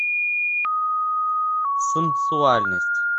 сенсуальность